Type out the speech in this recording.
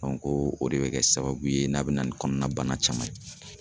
ko o de bɛ kɛ sababu ye n'a bɛ na ni kɔnɔna bana caman ye.